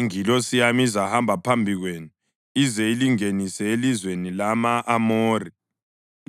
Ingilosi yami izahamba phambi kwenu ize ilingenise elizweni lama-Amori,